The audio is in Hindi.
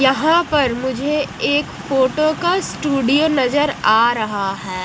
यहां पर मुझे एक फोटो का स्टूडियो नजर आ रहा है।